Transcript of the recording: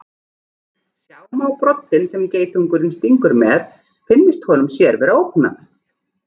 Sjá má broddinn sem geitungurinn stingur með finnist honum sér vera ógnað.